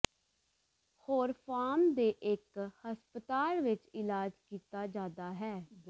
ਹੋਰ ਫਾਰਮ ਦੇ ਇਕ ਹਸਪਤਾਲ ਵਿਚ ਇਲਾਜ ਕੀਤਾ ਜਾਦਾ ਹੈ